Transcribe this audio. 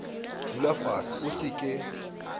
dula fase o se ke